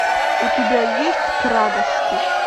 у тебя есть к радости